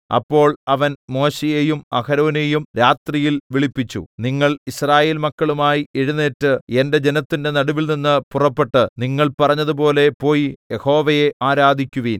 അപ്പോൾ അവൻ മോശെയെയും അഹരോനെയും രാത്രിയിൽ വിളിപ്പിച്ചു നിങ്ങൾ യിസ്രായേൽമക്കളുമായി എഴുന്നേറ്റ് എന്റെ ജനത്തിന്റെ നടുവിൽനിന്ന് പുറപ്പെട്ട് നിങ്ങൾ പറഞ്ഞതുപോലെ പോയി യഹോവയെ ആരാധിക്കുവിൻ